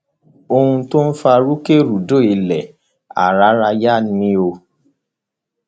ohun tó fa rúkèrúdò ilẹ áráráyà ni o